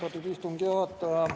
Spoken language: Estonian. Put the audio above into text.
Austatud istungi juhataja!